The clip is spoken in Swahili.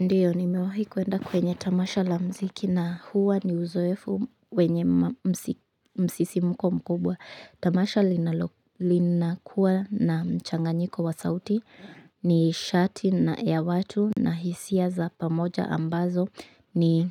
Ndiyo, nimewahi kuenda kwenye tamasha la muziki na huwa ni uzoefu wenye msisimko mkubwa. Tamasha linakuwa na mchanganyiko wa sauti nishati na ya watu na hisia za pamoja ambazo ni